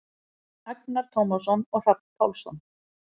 Agnar Tómasson og Hrafn Pálsson.